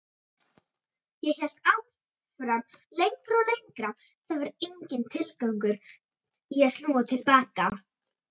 Ég hélt áfram lengra og lengra, það var enginn tilgangur í að snúa til baka.